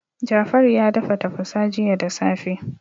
Jafaru ya dafa tafasa jiya da safe.